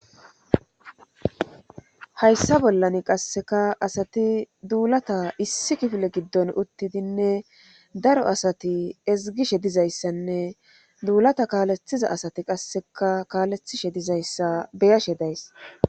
Hayssa bollan asati qassekka asati duulata issi kifilen gidon uttiddinne daro asati ezgishe dizayssanne duulata kaaletiza asati qassekka kaaletishe dizayssa be'ashe days.